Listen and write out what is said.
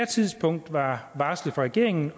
tidspunkt var varslet fra regeringen